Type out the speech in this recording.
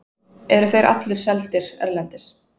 eru þeir allir seldir erlendis